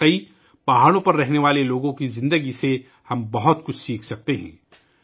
در اصل ، ہم پہاڑوں پر رہنے والے لوگوں کی زندگیوں سے بہت کچھ سیکھ سکتے ہیں